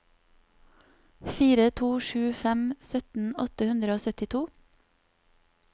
fire to sju fem sytten åtte hundre og syttito